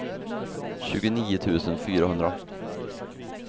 tjugonio tusen fyrahundra